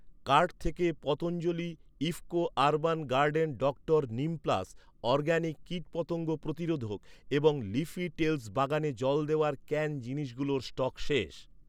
Cart থেকে Patanjali IFFCO urban garden doctor Neem plus organic কীটপতঙ্গ প্রতিরোধক এবং লিফি টেলস বাগানে জল দেওয়ার ক্যান জিনিসগুলোর স্টক শেষ।